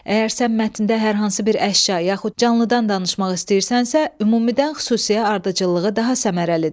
Əgər sən mətndə hər hansı bir əşya yaxud canlıdan danışmaq istəyirsənsə, ümumidən xüsusiyə ardıcıllığı daha səmərəlidir.